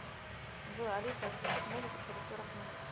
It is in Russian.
джой алиса отключить музыку через сорок минут